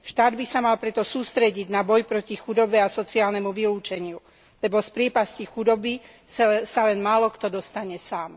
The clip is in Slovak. Štát by sa mal preto sústrediť na boj proti chudobe a sociálnemu vylúčeniu, lebo z priepasti chudoby sa len málokto dostane sám.